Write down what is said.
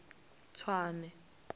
tswane